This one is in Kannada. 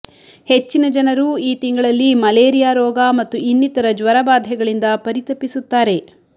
ಹೆಚ್ಚಿನ ಜನರು ಈ ತಿಂಗಳಲ್ಲಿ ಮಲೇರಿಯಾ ರೋಗ ಮತ್ತು ಇನ್ನಿತರ ಜ್ವರಬಾಧೆಗಳಿಂದ ಪರಿತಪಿಸುತ್ತಾರೆ